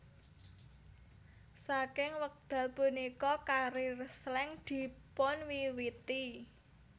Saking wekdal punika karier Slank dipunwiwiti